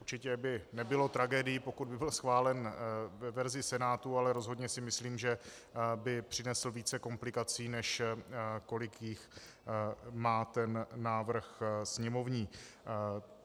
Určitě by nebylo tragédií, pokud by byl schválen ve verzi Senátu, ale rozhodně si myslím, že by přinesl více komplikací, než kolik jich má ten návrh sněmovní.